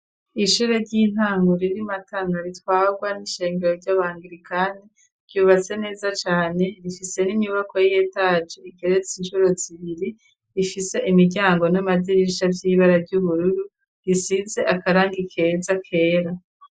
Ishure ry'intangur iri MatanA ritwagwa n'ishengero ry'abangirikani ryubase neza cane rifise n'inyubako y'etaje ikeretse inshuro zibiri rifise imiryango n'amadirisha vy'ibara ry'ubururu risize akarangi keza kera.